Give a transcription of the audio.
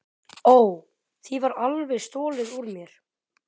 Ó, því var alveg stolið úr mér.